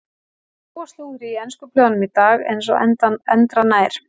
Það er nóg af slúðri í ensku blöðunum í dag eins og endranær.